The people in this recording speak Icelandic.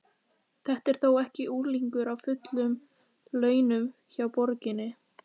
Þetta er þó ekki unglingur á fullum launum hjá borginni?